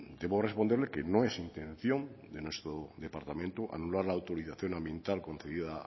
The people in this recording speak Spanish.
debo responderle que no es intención de nuestro departamento anular la autorización ambiental concedida